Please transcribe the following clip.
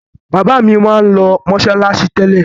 Bàbá mi máa ń lọ mọ́ṣáláṣí tẹ́lẹ̀.